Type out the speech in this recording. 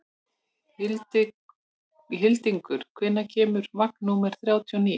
Hildingur, hvenær kemur vagn númer þrjátíu og níu?